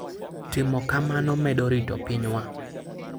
Timo kamano medo rito pinywa.